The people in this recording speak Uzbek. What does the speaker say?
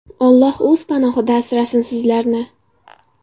Alloh o‘zi panohida asrasin sizlarni”.